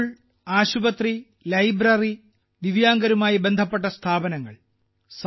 school ആശുപത്രി library ദിവ്യാംഗരുമായി ബന്ധപ്പെട്ട സ്ഥാപനങ്ങൾ